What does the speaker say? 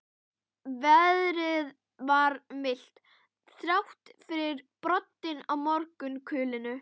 Veðrið var milt, þrátt fyrir broddinn í morgunkulinu.